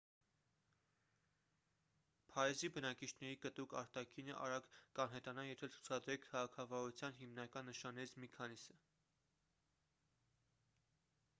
փարիզի բնակիչների կտրուկ արտաքինը արագ կանհետանա եթե ցուցադրեք քաղաքավարության հիմնական նշաններից մի քանիսը